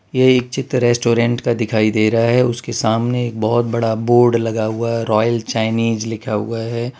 यह एक चित्र रेस्टोरेंट का दिखाई दे रहा है उसके सामने एक बहोत बोर्ड हुआ है रायल चाइनीज लिखा हुआ है।